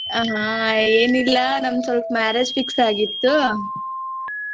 ಆಹಾ ಏನಿಲ್ಲಾ ನಂದ್ ಸ್ವಲ್ಪ marriage fix ಆಗಿತ್ತು.